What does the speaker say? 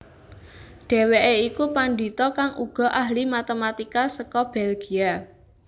Dhèwèké iku pandhita kang uga ahli matematika seka Belgia